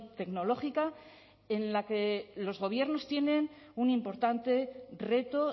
tecnológica en la que los gobiernos tienen un importante reto